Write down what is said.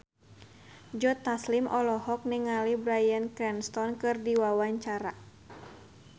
Joe Taslim olohok ningali Bryan Cranston keur diwawancara